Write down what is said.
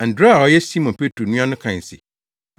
Andrea a ɔyɛ Simon Petro nua no kae se,